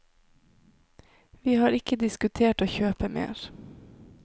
Vi har ikke diskutert å kjøpe mer.